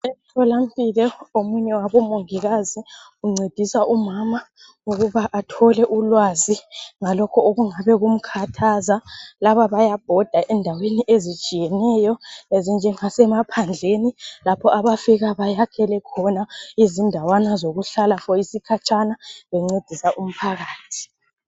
Emthola mpilo omunye wabo mongikazi uncedisa umama ukuba athole ulwazi ngalokho okungabe kumkhathaza. Laba bayabhoda endaweni ezitshiyeneyo. Ezinje ngase maphandleni. Lapho abafika bayakhele khona izindawana zokuhlala for isikhatshana bencedisa umphakathi.